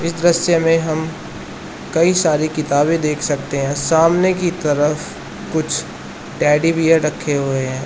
इस दृश्य में हम कई सारी किताबें देख सकते हैं सामने की तरफ कुछ टेडी बेयर रखे हुए हैं।